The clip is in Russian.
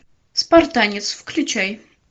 спартанец включай